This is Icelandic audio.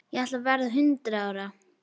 Ég ætla að verða hundrað ára.